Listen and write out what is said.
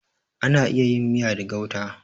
Ana iya yin miya da gauta.